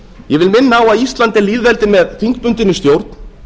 ég vil minna á að ísland er lýðveldi með þingbundinni stjórn